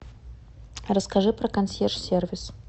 расскажи про консьерж сервис